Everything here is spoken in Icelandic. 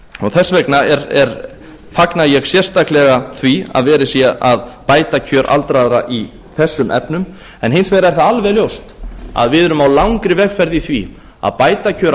þess vegna fagna ég sérstaklega því að verið sé að bæta kjör aldraðra í þessum efnum hins vegar er það alveg ljóst að við erum á langri vegferð í því að bæta kjör